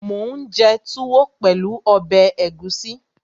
Mò ún jẹ túwó pẹ̀lú ọbẹ̀ ẹ̀gúsí